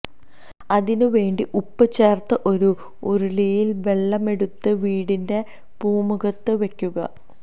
അതിന് വേണ്ടി ഉപ്പ് ചേര്ത്ത് ഒരു ഉരുളിയില് വെള്ളമെടുത്ത് വീടിന്റെ പൂമുഖത്ത് വെയ്ക്കുക